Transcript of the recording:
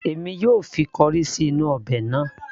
èmi yóò fi corrie sí inú ọbẹ̀ náà